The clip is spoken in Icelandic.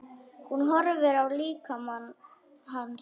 Hún horfði á líkama hans.